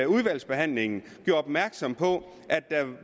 udvalgsbehandlingen